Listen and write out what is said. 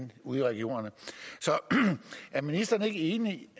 ude i regionerne så er ministeren ikke enig